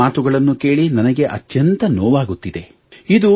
ಇಂತಹ ಮಾತುಗಳನ್ನು ಕೇಳಿ ನನಗೆ ಅತ್ಯಂತ ನೋವಾಗುತ್ತಿದೆ